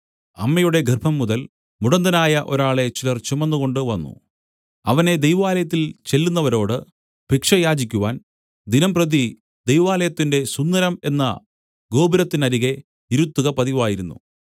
അമ്മയുടെ ഗർഭംമുതൽ മുടന്തനായ ഒരാളെ ചിലർ ചുമന്നുകൊണ്ടു വന്നു അവനെ ദൈവാലയത്തിൽ ചെല്ലുന്നവരോട് ഭിക്ഷ യാചിക്കുവാൻ ദിനംപ്രതി ദൈവാലയത്തിന്റെ സുന്ദരം എന്ന ഗോപുരത്തിനരികെ ഇരുത്തുക പതിവായിരുന്നു